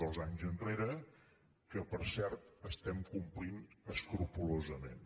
dos anys enrere que per cert estem complint escrupolosament